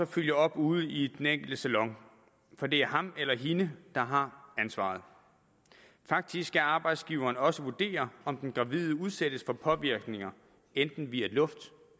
følge op ude i den enkelte salon for det er ham eller hende der har ansvaret faktisk skal arbejdsgiverne også vurdere om den gravide udsættes for påvirkninger enten via luft